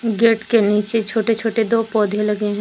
Gate के नीचे छोटे छोटे दो पौधे लगे हैं।